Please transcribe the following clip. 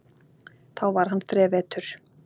Þá var hann þrevetur.